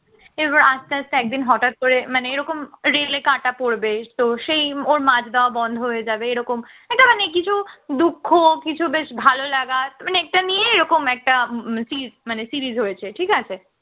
এবার আস্তে আস্তে একদিন হঠাৎ করে মানে এরকম রেলে কাটা পড়বে তো সেই ওর মাছ দেওয়া বন্ধ হয়ে যাবে এরকম একটা মানে কিছু দুঃখ কিছু বেশ ভালো লাগা মানে এটা নিয়ে এরকম একটা সিরি series হয়েছে ঠিক আছে